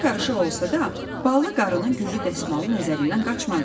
Başı qarışıq olsa da, ballı qarının güllü dəsmalı nəzərindən qaçmadı.